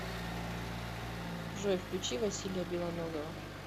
джой включи василия белоногова